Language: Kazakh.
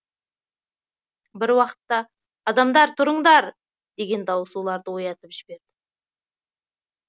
бір уақытта адамдар тұрындар деген дауыс оларды оятып жібереді